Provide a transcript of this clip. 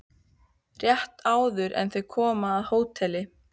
Rétt áður en þau koma að hóteli